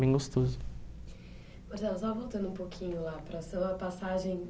bem gostoso. Marcelo, só voltando um pouquinho lá para a sua passagem